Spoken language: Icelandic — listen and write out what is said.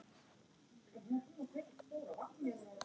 LÁRUS: Jæja.